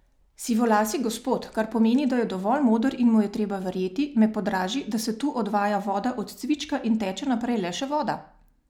Sivolasi gospod, kar pomeni, da je dovolj moder in mu je treba verjeti, me podraži, da se tu odvaja voda od cvička in teče naprej le še voda.